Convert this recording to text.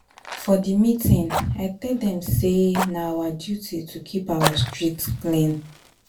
For di meeting, I tell dem sey na our duty to keep our street clean.